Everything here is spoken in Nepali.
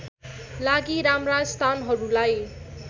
लागि राम्रा स्थानहरूलाई